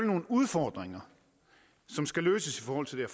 nogle udfordringer som skal løses i forhold til